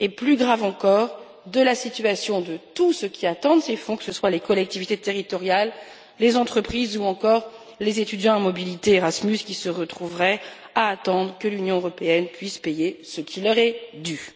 et, plus grave encore, de la situation de tous ceux qui attendent ces fonds, que ce soient les collectivités territoriales, les entreprises ou encore les étudiants à mobilité Erasmus qui se retrouveraient à attendre que l'Union européenne puisse payer ce qui leur est dû.